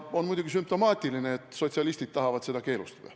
On muidugi sümptomaatiline, et sotsialistid tahavad seda keelustada.